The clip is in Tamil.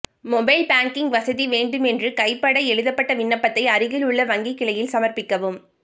மொபைல் பேங்கிங் வசதி வேண்டும் என்று கைப்பட எழுதப்பட்ட விண்ணப்பத்தை அருகில் உள்ள வங்கிக் கிளையில் சமர்ப்பிக்கவும்